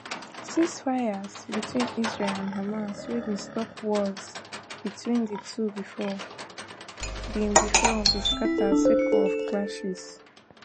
ceasefires between israel and hamas wey bin stop wars between di two before bin before bin scata sake of clashes